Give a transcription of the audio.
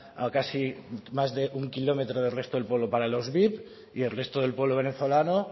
a casi más de un kilómetro del resto del pueblo para los vip y el resto del pueblo venezolano